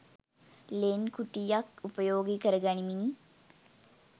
ලෙන් කුටියක් උපයෝගී කරගනිමිනි.